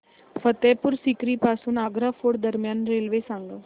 फतेहपुर सीकरी पासून आग्रा फोर्ट दरम्यान रेल्वे सांगा